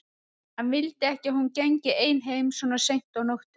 Hann vildi ekki að hún gengi ein heim svona seint á nóttunni.